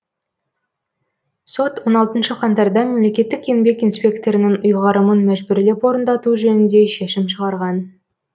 сот он алтыншы қаңтарда мемлекеттік еңбек инспекторының ұйғарымын мәжбүрлеп орындату жөнінде шешім шығарған